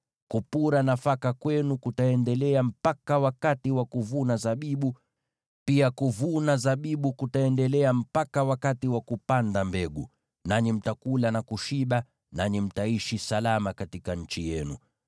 Kupura nafaka kwenu kutaendelea mpaka wakati wa kuvuna zabibu. Pia kuvuna zabibu kutaendelea mpaka wakati wa kupanda mbegu, nanyi mtakula na kushiba, na mtaishi salama katika nchi yenu.